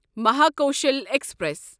Mahakoshal express